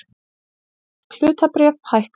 Bresk hlutabréf hækka